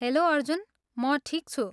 Hello Arjun! म ठिक छु।